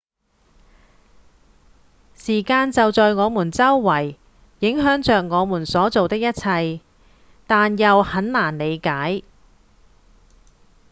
時間就在我們周圍影響著我們所做的一切但又很難理解